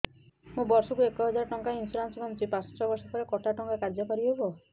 ମୁ ବର୍ଷ କୁ ଏକ ହଜାରେ ଟଙ୍କା ଇନ୍ସୁରେନ୍ସ ବାନ୍ଧୁଛି ପାଞ୍ଚ ବର୍ଷ ପରେ କଟା ଟଙ୍କା କାର୍ଯ୍ୟ କାରି ହେବ